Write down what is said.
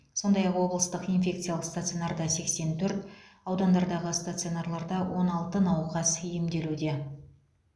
сондай ақ облыстық инфекциялық стационарда сексен төрт аудандардағы стационарларда он алты науқас емделуде